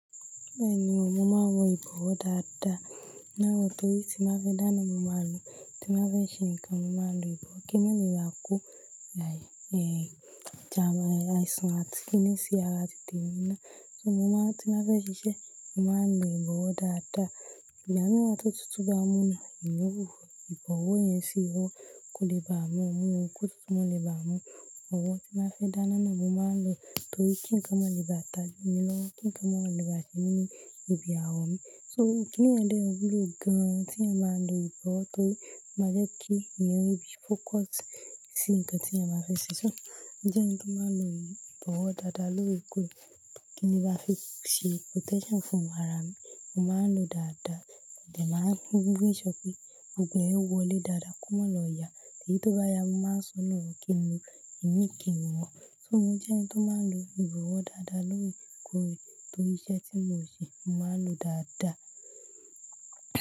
Bẹ́ẹ̀ni o, mo máa ń wọ ìbọ̀wọ́ dáadáa. Torí tí n bá fẹ́ dáná, mo máa ń lo. Tí n bá fẹ́ ṣe nǹkan, mo máa ń lo ìbọ̀wọ́ kí má firà ko like àìsàn àti kiní sí ara tí temi náà. So mo máa ń-- tí n bá fẹ́ ṣiṣẹ́, mo máa ń lo ìbọ̀wọ́ dáadáa. Ìgbamiran tó tútu bá mú mi, mo ń lo ìbọ̀wọ́ yẹn sì owọ́, kò lè bàa mú, kò tútu ma lè bàa mú. Ìbọ̀wọ́ tí n bá fẹ́ dáni ni mo máa ń lo torí kí ǹkan mó lè bá ta mí lọ́wọ́, kí ǹkan mó lè bá ṣe mí ní ibi àwọ̀ mi. So kíni yẹn de wúlò gan. Tí èèyàn bá ń lo ìbọ̀wọ́ torí ó máa jẹ́ kí ẹ̀eyàn rí bí focus sí nǹkan tí ẹeyan bá fẹ́ ṣe. So mo jẹ́ ẹni tó máa ń lo ìbọ̀wọ́ dáadáa lóòrèkóòrè. Kí n lè bá fi ṣe protection fún ara mi, mo máa ń lo dáadáa. Mo de máa ń make sure pé gbogbo ẹ́ wọlé dáadáa kò ma lọ yà. Èyí tó bá yá, mo máa ń sọnù, kí n lo imi, kí n lè wọ̀ so mo jẹ́ ẹni tó máa ń lo ìbọ̀wọ́ dáadáa lóòrèkóòrè torí iṣẹ́ tí mo ń ṣe, mo máa ń lo dáadáa.